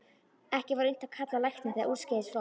Ekki var unnt að kalla á lækni þegar úrskeiðis fór.